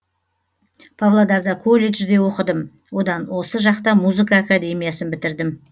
павлодарда колледжде оқыдым одан осы жақта музыка академиясын бітірдім